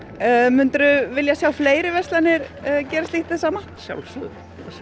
myndirðu vilja sjá fleiri verslanir gera slíkt hið sama að sjálfsögðu